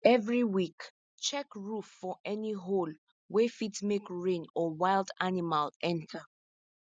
every week check roof for any hole wey fit make rain or wild animal enter